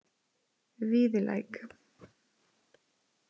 Víðilæk